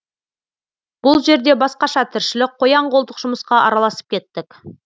бұл жерде басқаша тіршілік қоян қолтық жұмысқа араласып кеттік